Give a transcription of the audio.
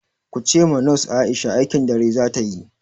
Kuce ma nos Aisha aikin dare zata yi!